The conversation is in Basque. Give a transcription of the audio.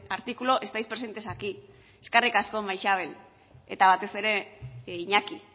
artículo estáis presentes aquí eskerri asko maixabel eta batez ere iñaki